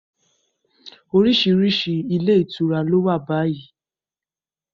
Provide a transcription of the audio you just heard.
Orísìírísìí ilé ìtura ló wà báyìí